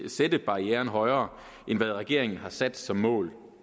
sætte barrieren højere end hvad regeringen har sat som mål